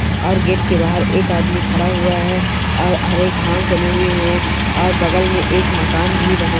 और गेट के बाहर एक आदमी खड़ा हुआ है और अरे घास जमे हुए हैं और बगल में एक मकान भी बना--